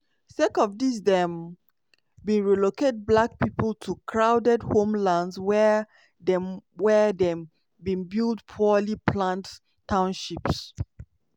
sake of dis dem bin relocate black pipo to crowded homelands wia dem wia dem bin build poorly planned townships.